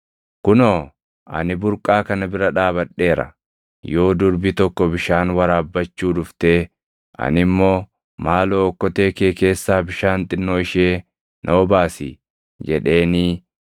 Kunoo, ani burqaa kana bira dhaabadheera; yoo durbi tokko bishaan waraabbachuu dhuftee ani immoo, “Maaloo okkotee kee keessaa bishaan xinnoo ishee na obaasi” jedheenii,